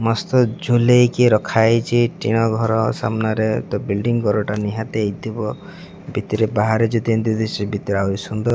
ମସ୍ତ ଝୁଲେଇକି କି ରଖାଯାଇଛି ଟିଣ ଘର ସାମ୍ନାରେ ତ ବୁଲଡିଂ ଘରଟା ନିହାତି ହେଇଥିବ ଭିତରେ ବାହାରେ ଯଦି ଏମିତି ଦିଶୁଚି ଭିତର ଆହୁରି ସୁନ୍ଦର --